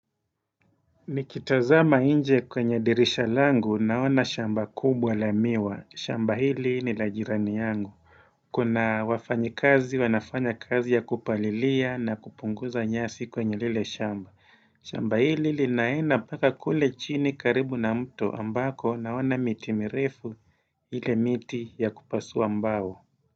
Nikitazama inje kwenye dirisha langu naona shamba kubwa la miwa, shamba hili ni la jirani yangu Kuna wafanyi kazi wanafanya kazi ya kupalilia na kupunguza nyasi kwenye lile shamba shamba hili linaena paka kule chini karibu na mtu ambako naona miti mirefu hile miti ya kupasuwa mbao.